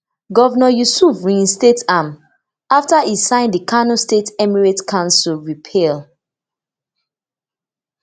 governor yusuf reinstate am afta e sign di kano state emirate council repeal